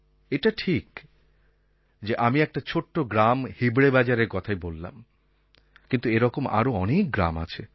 এটা ঠিক যে আমি একটি ছোট্ট গ্রাম হিবড়ে বাজারের কথাই বললাম কিন্তু এরকম আরও অনেক গ্রাম আছে